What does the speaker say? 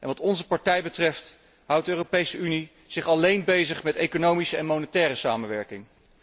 Wat onze partij betreft zou de Europese Unie zich alleen moeten bezighouden met economische en monetaire samenwerking.